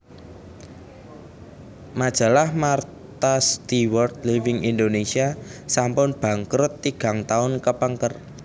Majalah Martha Stewart Living Indonesia sampun bangkrut tigang tahun kepengker